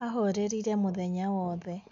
ahorerire mũthenya wothe